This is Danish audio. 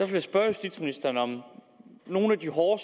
jeg spørge justitsministeren om nogle af de hårde